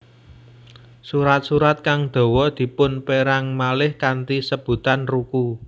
Surat surat kang dawa dipunperang malih kanthi sebutan ruku